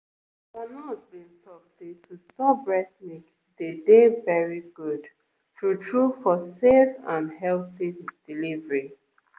our nurse been talk say to store breast milk dey dey very good true-true for safe and healthy delivery